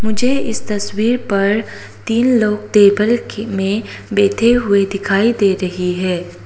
मुझे इस तस्वीर पर तीन लोग टेबल के में बैठे हुए दिखाई दे रही है।